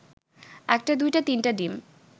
একটা দুইটা তিনটা ডিম